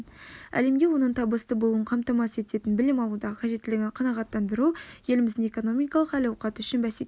әлемде оның табысты болуын қамтамасыз ететін білім алудағы қажеттілігін қанағаттандыру еліміздің экономикалық әл-ауқаты үшін бәсекеге